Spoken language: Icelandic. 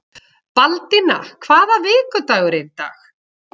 Baldína, hvaða vikudagur er í dag?